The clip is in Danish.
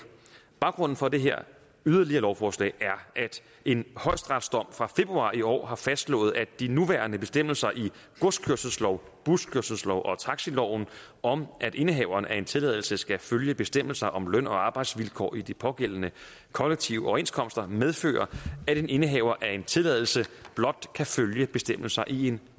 baggrunden for det her yderligere lovforslag er at en højesteretsdom fra februar i år har fastslået at de nuværende bestemmelser i godskørselsloven buskørselsloven og taxiloven om at indehaveren af en tilladelse skal følge bestemmelser om løn og arbejdsvilkår i de pågældende kollektive overenskomster medfører at en indehaver af en tilladelse blot kan følge bestemmelser i en